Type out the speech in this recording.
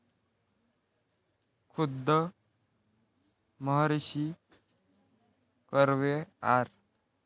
खुद्द महर्षी कर्वे, आर.